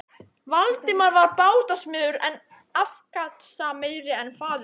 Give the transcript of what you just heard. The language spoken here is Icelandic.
Valdimar var bátasmiður, enn afkastameiri en faðir hans.